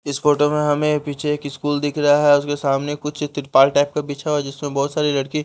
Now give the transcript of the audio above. इस फोटो में हमें पीछे एक स्कूल दिख रहा है उसके सामने कुछ त्रिपाल टाइप का पीछा हुआ है जिसमें बहुत सारी लड़की --